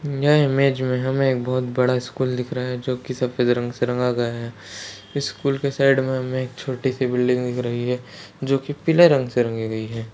यह इमेज मे हमे एक बहुत बड़ा स्कूल दिख रहा है जो की सफ़ेद रंग से रंगा गया है स्कूल के साइड मे हमे छोटी सी बिल्डिंग दिख रही है जो की पीले रंग से रंगी गई है।